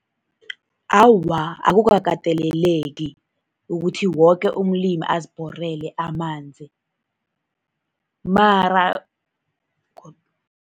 Awa, akukakateleleki ukuthi woke umlimi azibhorele amanzi, mara